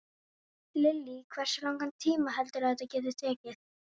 Lillý: Hversu langan tíma heldurðu að þetta geti tekið?